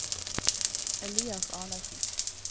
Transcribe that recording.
Elias Arnesen